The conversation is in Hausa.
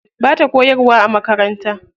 Bata koyarwa a makaranta.